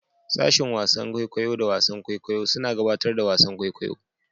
Sashen wasan kwaikwayo da wasan kwaikwayo suna gabatar da wasan kwaikwayo.